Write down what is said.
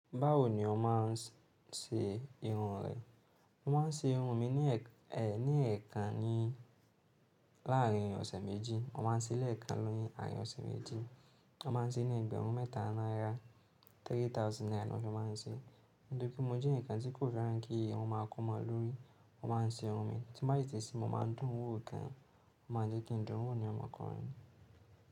Báwo ni o máa ń ṣe irun rẹ? Mo máa ń ṣe irun mi ní ẹ̀ẹ̀kan ní láàárín ọ̀sẹ̀ méjì. Mo máa ń ṣe ilé ẹ̀ẹ̀kan lọ́yàn láàárín ọ̀sẹ̀ méjì. Mo máa ń ṣe ní ẹgbẹ̀rún mẹ́ta náírà, three thousand naira ni mo fi máa ń ṣe. Nítorí mo jẹ ẹ̀yan kan tí kò fẹ́ràn kí irun máa kún mo lórí, wọ́n máa ń ṣe irun mi. Tí mo bá ì tí se, mo máa ń dùn ún wò ọ̀kan. O máa ń jẹ́ kí n dùn ún wò ni omo okunrin.